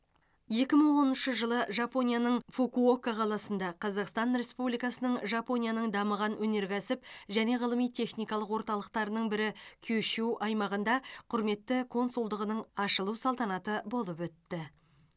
екі мың оныншы жылы жапонияның фукуока қаласында қазақстан республикасының жапонияның дамыған өнеркәсіп және ғылыми техникалық орталықтарының бірі кюшю аймағында құрметті консулдығының ашылу салтанаты болып өтті